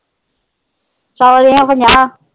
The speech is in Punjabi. ਸੋ ਦੀਆ ਪੰਜਾਹ।